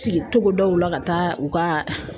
Sigi togodaw la ka taa u ka